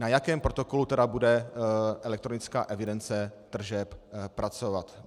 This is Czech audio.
Na jakém protokolu tedy bude elektronická evidence tržeb pracovat?